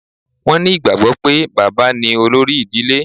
Wọn ní ìgbàgbọ́ pé, bàbá ní olórí ìdílé